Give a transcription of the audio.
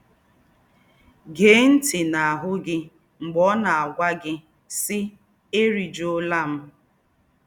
gèé ńtì̀ nà àhú gị mgbè ọ́ nà+-àgwá gí, sí, “Éríjúólá m